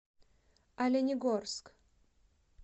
оленегорск